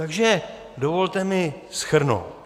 Takže dovolte mi shrnout.